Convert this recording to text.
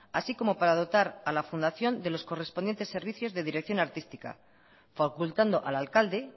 así como para dotar a la fundación de los correspondientes servicios de dirección artística facultando al alcalde